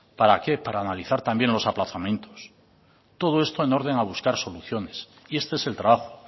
para qué para analizar también los aplazamientos todo esto en orden a buscar soluciones y este es el trabajo